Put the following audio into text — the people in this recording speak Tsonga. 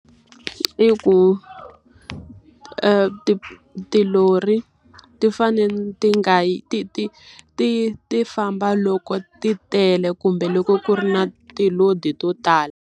I ku tilori, ti fanele ti nga yi ti ti ti ti famba loko ti tele kumbe loko ku ri na ti-load-i to tala.